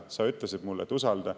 Sa ütlesid mulle, et usalda.